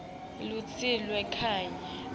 lusito lweni kanye